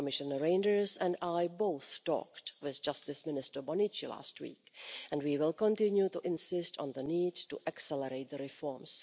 Commissioner Reynders and I both talked with Justice Minister Bonnici last week, and we will continue to insist on the need to accelerate the reforms.